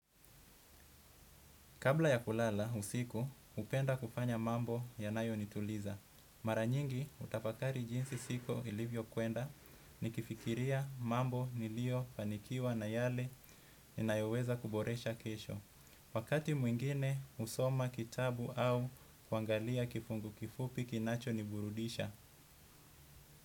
Kabla ya kulala usiku, hupenda kufanya mambo yanayonituliza. Mara nyingi hutafakari jinsi siku ilivyokwenda, nikifikiria mambo niliyofanikiwa na yale ninayoweza kuboresha kesho. Wakati mwingine husoma kitabu au kuangalia kifungu kifupi kinachoniburudisha.